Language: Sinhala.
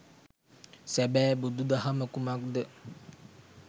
සැබෑ බුදු දහම කුමක්ද